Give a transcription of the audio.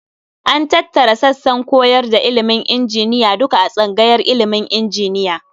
An tattara sassan koyar da ilimin injiniya duka a tsangayar ilimin injiniya.